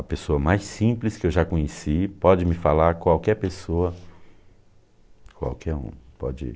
A pessoa mais simples que eu já conheci pode me falar, qualquer pessoa, qualquer um, pode ir.